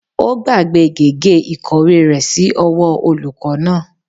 Ó gbàgbé gègé ìkọ̀wé rẹ̀ sí ọwọ́ olùkọ́ náà